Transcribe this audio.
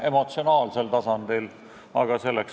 Tegemist on teenindajatega, kes püüavad rääkida inglise keeles.